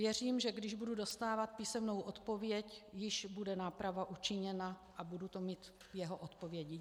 Věřím, že když budu dostávat písemnou odpověď, již bude náprava učiněna a budu to mít v jeho odpovědi.